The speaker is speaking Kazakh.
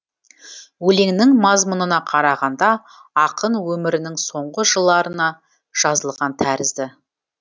өлеңнің мазмұнына қарағанда ақын өмірінің соңғы жыларына жазылған тәрізді